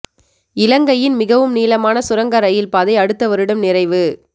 இலங்கையின் மிகவும் நீளமான சுரங்க ரயில் பாதை அடுத்த வருடம் நிறைவு